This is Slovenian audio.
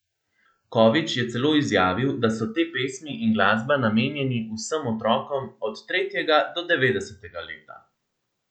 Kovič je celo izjavil, da so te pesmi in glasba namenjeni vsem otrokom od tretjega do devetdesetega leta.